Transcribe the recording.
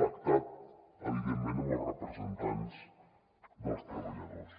pactat evidentment amb els representants dels treballadors